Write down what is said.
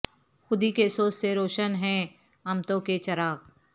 خودی کے سوز سے روشن ہیں امتوں کے چراغ